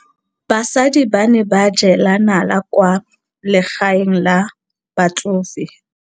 Basadi ba ne ba jela nala kwaa legaeng la batsofe.